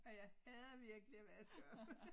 Og jeg hader virkelig at vaske op